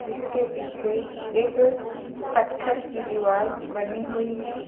इसके पीछे एक पत्थर की दीवाल बनी हुई है।